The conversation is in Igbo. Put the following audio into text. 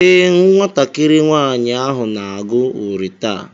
Ee, nwatakịrị nwaanyị ahụ na-agụ uri taa.